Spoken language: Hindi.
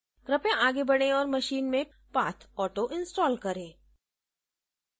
कृपया आगे बढ़ें और अपनी machine में pathauto installed करें